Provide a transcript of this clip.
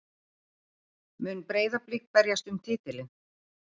Mun Breiðablik berjast um titilinn?